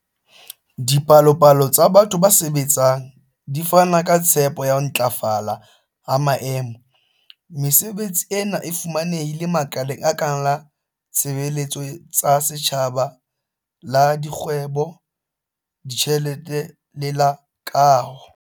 Dipalopalo tsa batho ba sebetsang di fana ka tshepo ya ho ntlafala ha maemo. Mesebetsi ena e fumanehile makaleng a kang la ditshebeletso tsa setjhaba, la dikgwebo, ditjhelete le la kaho.